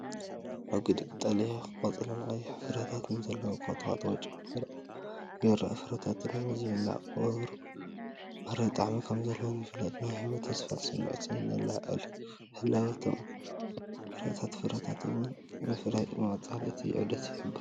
ረጒድ ቀጠልያ ቆጽልን ቀይሕ ፍረታትን ዘለዎ ቁጥቋጥ ወይ ጨንፈር ኦም ይረአ፣ ፍረታቱ ድማ ዝብላዕን ቁሩብ መሪር ጣዕሚ ከም ዘለዎን ይፍለጥ። ናይ ህይወትን ተስፋን ስምዒት የለዓዕል። ህላወ እቶም ፍረታት ፍረታት እውን ምፍራይን ምቕፃል እቲ ዑደትን ይሕብር።